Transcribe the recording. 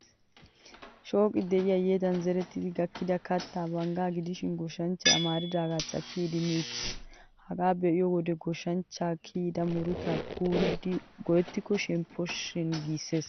Shooqi de'iyaa yedan zerettidi gakkida kattay banggaa gidishin, goshshanchchay amaridaagaa cakkidi idimmi uttiis. Hagaa be'iyo wode goshshanchcha kiyada murutaa kuurada go'ettyaakko shempposhin giissees.